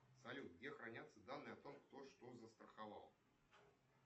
салют где хранятся данные о том кто что застраховал